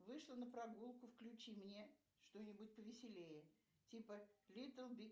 вышла на прогулку включи мне что нибудь повеселее типа литтл биг